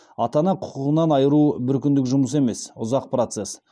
ата ана құқығынан айыру бір күндік жұмыс емес ұзақ процесс